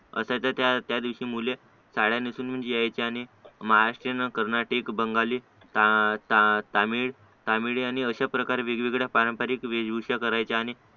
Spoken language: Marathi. तसंच त्या दिवशी मुले साड्या नेसून पण यायचे आणि महाराष्ट्रीयन कर्नाटीक बंगाली तां तां तां तमिळ ता मिलियन अशाप्रकारे पारंपारिक वेशभूषा करायचे आणि